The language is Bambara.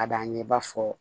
Ka d'an ye i b'a fɔ